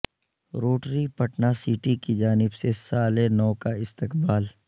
Rotary Patna city کی جانب سے سال نو کا استقبال